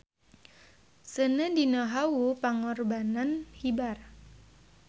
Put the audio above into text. Seuneu dina hawu pangorbanan hibar.